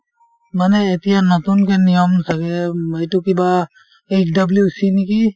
মানে এতিয়া নতুনকে নিয়ম ছাগে উম এইটো কিবা HWC নেকি